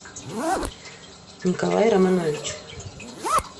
николай романович